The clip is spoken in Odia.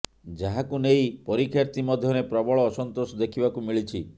ଯାହାକୁ ନେଇ ପରୀକ୍ଷାର୍ଥୀ ମଧ୍ୟରେ ପ୍ରବଳ ଅସନ୍ତୋଷ ଦେଖିବାକୁ ମିଳିଛି